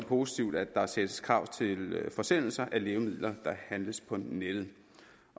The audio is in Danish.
positivt at der stilles krav til forsendelse af lægemidler der handles på nettet